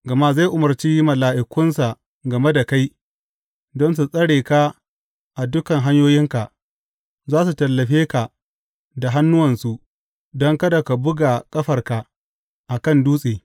Gama zai umarci mala’ikunsa game da kai don su tsare ka a dukan hanyoyinka; za su tallafe ka da hannuwansu, don kada ka buga ƙafarka a kan dutse.